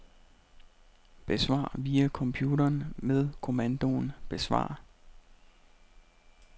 Besvar via computeren med kommandoen besvar.